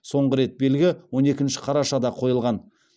соңғы рет белгі он екінші қарашада қойылған